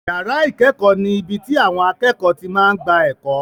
Yàrá ìkẹ́kọ̀ọ́ ni ibi tí àwọn akẹ́kọ̀ọ́ ti máa ń gba ẹ̀kọ́.